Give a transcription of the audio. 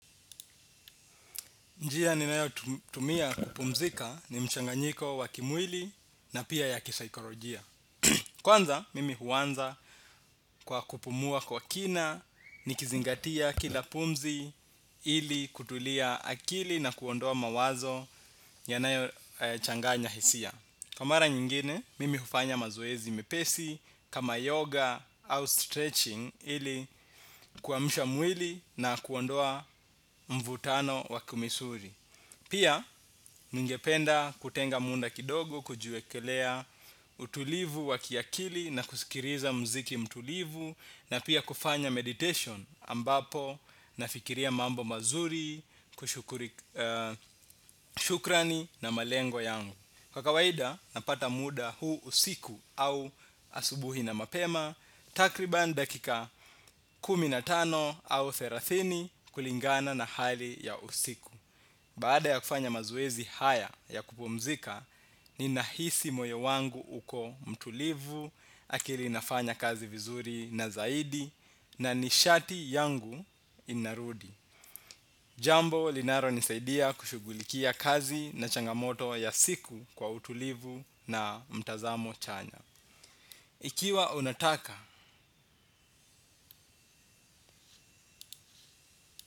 Njia ninayotumia kupumzika ni mchanganyiko wa kimwili na pia ya kisaikorojia. Kwanza, mimi huanza kwa kupumua kwa kina nikizingatia kila pumzi ili kutulia akili na kuondoa mawazo yanayochanganya hisia. Kwa mara nyingine, mimi hufanya mazoezi mepesi kama yoga au stretching ili kuamsha mwili na kuondoa mvutano wa kumisuri. Pia ningependa kutenga munda kidogo kujiwekelea utulivu wa kiakili na kusikiriza mziki mtulivu na pia kufanya meditation ambapo nafikiria mambo mazuri, shukrani na malengo yangu. Kwa kawaida napata muda huu usiku au asubuhi na mapema takriban dakika kumi na tano au therathini kulingana na hali ya usiku. Baada ya kufanya mazoezi haya ya kupumzika, ninahisi moyo wangu uko mtulivu, akili inafanya kazi vizuri na zaidi, na nishati yangu inarudi. Jambo, linaronisaidia kushugulikia kazi na changamoto ya siku kwa utulivu na mtazamo chanya. Ikiwa unataka.